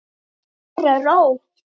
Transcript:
Hér er ró.